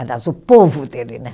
Aliás, o povo dele, né?